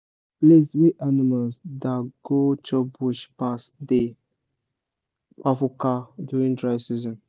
place wey animals da go chop bush pass dey kpafuka during dry season